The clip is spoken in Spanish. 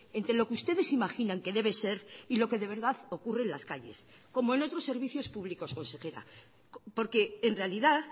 entre lo que ustedes imaginan que debe ser y lo que de verdad ocurre en las calles como en otros servicios públicos consejera porque en realidad